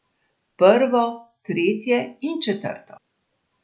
Prvo, tretjo in četrto.